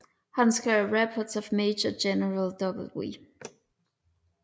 Han skrev Reports of Major General W